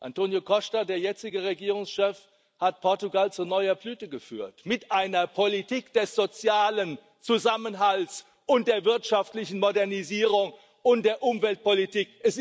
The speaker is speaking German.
Antínio Costa, der jetzige Regierungschef, hat Portugal zu neuer Blüte geführt mit einer Politik des sozialen Zusammenhalts, der wirtschaftlichen Modernisierung und der Umweltpolitik.